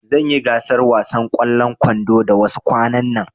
Zanyi gasar wasan ƙwallon kwando da wasu kwanan nan